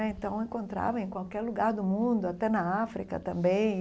Então, encontrava em qualquer lugar do mundo, até na África também.